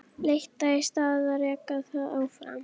Hrúgan muldraði eitthvað í koddann og Örn fór fram.